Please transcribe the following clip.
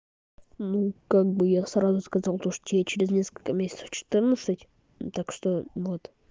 ну как бы я сразу сказал то что я через несколько месяцев четырнадцать так что вот